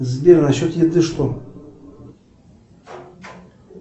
сбер насчет еды что